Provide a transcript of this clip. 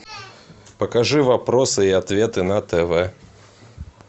покажи вопросы и ответы на тв